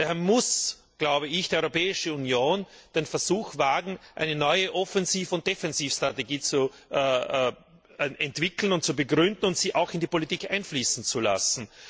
Daher muss die Europäische Union den Versuch wagen, eine neue Offensiv und Defensivstrategie zu entwickeln und zu begründen und sie auch in die Politik einfließen zu lassen.